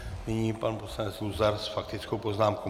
Nyní pan poslanec Luzar s faktickou poznámkou.